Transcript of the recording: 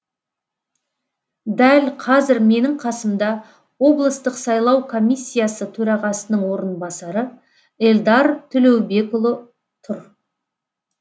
дәл қазір менің қасымда облыстық сайлау комиссиясы төрағасының орынбасары эльдар төлеубекұлы тұр